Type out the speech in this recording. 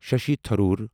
Shashi Tharoor